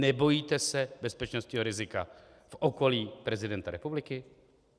Nebojíte se bezpečnostního rizika v okolí prezidenta republiky?